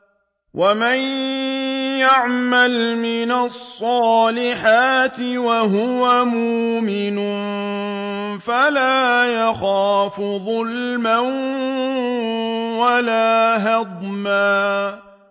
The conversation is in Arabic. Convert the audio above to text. وَمَن يَعْمَلْ مِنَ الصَّالِحَاتِ وَهُوَ مُؤْمِنٌ فَلَا يَخَافُ ظُلْمًا وَلَا هَضْمًا